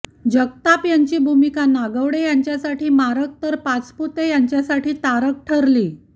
जगताप यांची भूमिका नागवडे यांसाठी मारक तर पाचपुते यांच्यासाठी तारक ठरली